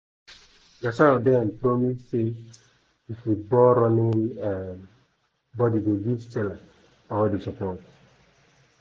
gusau den promise say di football-ruling um bodi go give chelle all di support